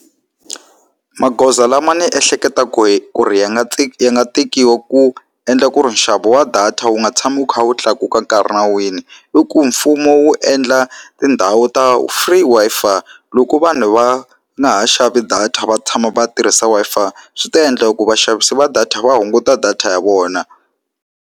Magoza lama ni ehleketaku ku ri ya nga ya nga tekiwa ku endla ku ri nxavo wa data wu nga tshami wu kha wu tlakuka nkarhi na wini i ku mfumo wu endla tindhawu ta free Wi-Fi loko vanhu va nga ha xavi data va tshama va tirhisa Wi-Fi swi ta endla ku vaxavisi va data va hunguta data ya vona.